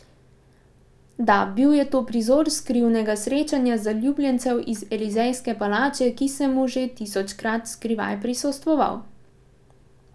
Da, bil je to prizor skrivnega srečanja zaljubljencev iz Elizejske palače, ki sem mu že tisočkrat skrivaj prisostvoval.